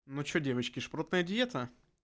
ну что девочки шпротная диета